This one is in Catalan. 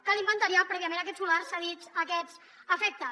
cal inventariar prèviament aquests solars cedits a aquests efectes